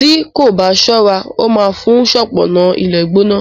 tí kò bá ṣọra ó má fún un ṣọpọnna ilé gbóná.